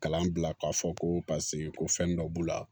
Kalan bila k'a fɔ ko paseke ko fɛn dɔ b'u la